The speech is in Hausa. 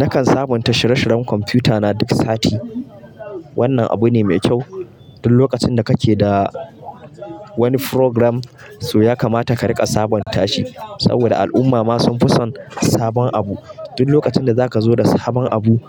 Nakan sabunta shire-shiren kwamfuta na duk sati. Wannan abu ne mai kyau. Duk lokacin da kake da wani program, to ya kamata ka riƙa sabunta shi. Saboda al'umma ma sun fi son sabon abu. Duk lokacin da zaka zo da sabon abu,